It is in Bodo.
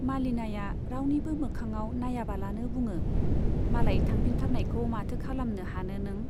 मालिनाया रावनिबो मोखाङाव नाइयाबालानो बुङो, मालाय थांफिनथारनायखौ माथो खालामनो हानो नों ?